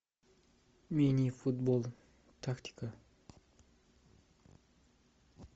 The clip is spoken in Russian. мини футбол тактика